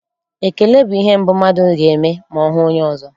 Ekele bụ ihe mbụ mmadụ ga-eme ma ọ hụ onye ọzọ.